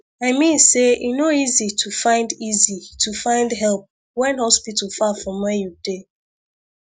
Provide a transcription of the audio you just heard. i mean say e no easy to find easy to find help when hospital far from where you dey